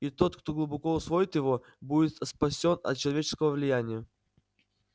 и тот кто глубоко усвоит его будет спасён от человеческого влияния